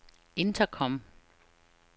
intercom